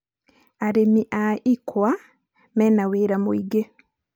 arĩmi a ikwa mena wĩra mũingĩ